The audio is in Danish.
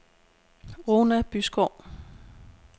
Runa Byskov